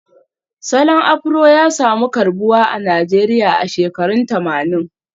Salon Afro ya samu karbuwa a Najeriya a shekarun tamanin